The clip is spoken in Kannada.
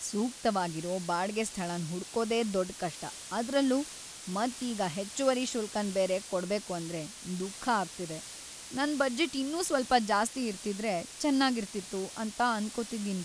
ಸೂಕ್ತವಾಗಿರೋ ಬಾಡ್ಗೆ ಸ್ಥಳನ್ ಹುಡ್ಕೋದೆ ದೊಡ್ ಕಷ್ಟ ಅದ್ರಲ್ಲೂ ಮತ್ ಈಗ ಹೆಚ್ಚುವರಿ ಶುಲ್ಕನ್ ಬೇರೆ ಕೊಡ್ಬೇಕು ಅಂದ್ರೆ ದುಃಖ ಆಗ್ತಿದೆ. ನನ್ ಬಜೆಟ್ ಇನ್ನೂ ಸ್ವಲ್ಪ ಜಾಸ್ತಿ ಇರ್ತಿದ್ರೆ ಚೆನ್ನಾಗಿರ್ತಿತ್ತು ಅಂತ ಅನ್ಕೋತಿದ್ದೀನಿ.